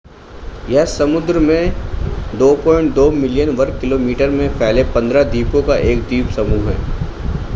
यह समुद्र में 2.2 मिलियन वर्ग किलोमीटर में फैले 15 द्वीपों एक द्वीपसमूह है